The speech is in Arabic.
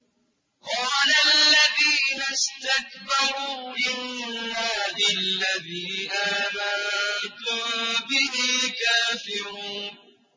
قَالَ الَّذِينَ اسْتَكْبَرُوا إِنَّا بِالَّذِي آمَنتُم بِهِ كَافِرُونَ